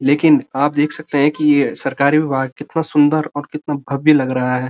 लेकिन आप देख सकते है कि यह सरकारी विभाग कितना सुंदर और कितना बावय लग रहा है।